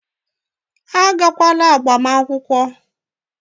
Unu aga agbamakwụkwọ!